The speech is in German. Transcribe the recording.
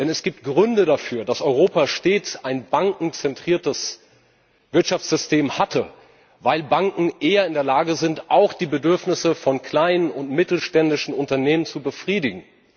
Denn es gibt Gründe dafür, dass Europa stets ein bankenzentriertes Wirtschaftssystem hatte, weil Banken eher in der Lage sind, auch die Bedürfnisse von kleinen und mittelständischen Unternehmen zu befriedigen.